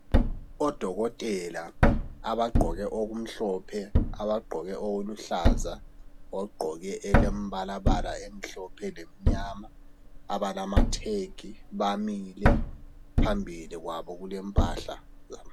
Odokotela abagqoke okumhlophe, abagqoke okuluhlaza. Abagqoke okulembalabala emhlophe lemnyama, abalamatag. Bamile. Phambili kwabo kulempahla.